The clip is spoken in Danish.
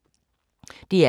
DR K